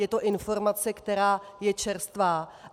Je to informace, která je čerstvá.